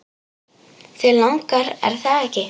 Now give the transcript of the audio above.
Þig langar, er það ekki?